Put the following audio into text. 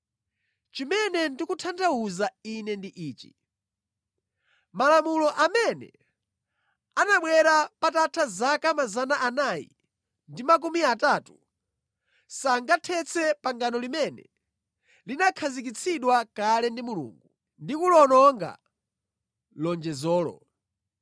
Chimene ndikutanthauza ine ndi ichi: Malamulo amene anabwera patatha zaka 430, sangathetse pangano limene linakhazikitsidwa kale ndi Mulungu ndi kuliwononga lonjezolo.